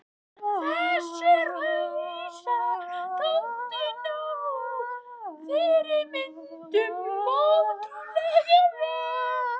Þessir hausar þóttu ná fyrirmyndunum ótrúlega vel.